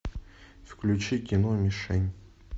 включи кино мишень